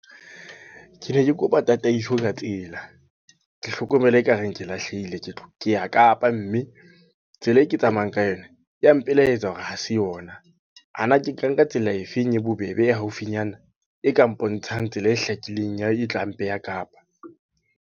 Ke ne ke kopa tataiso ka tsela. Ke hlokomela ekareng ke lahlehile. Ke ya Kapa mme, tsela e ke tsamayang ka yona, ya mpela e etsa hore ha se yona. A na ke tla nka tsela efeng e bobebe e haufinyana? E ka mpontshang tsela e hlakileng ya e tla mpeha Kapa.